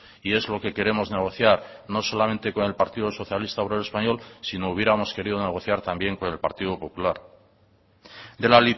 y es lo que queremos negociar no solamente con el partido socialista obrero español sino hubiéramos querido negociar también con el partido popular de la